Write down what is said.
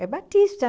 É batista,